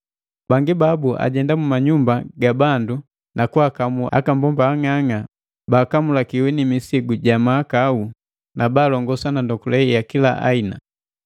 Bangi babu ajenda mu manyumba ga bandu na kwaakamu akabomba ang'ang'a baakamulikiwi ni misigu ja mahakau na baalongoswa na ndokule ya kila aina.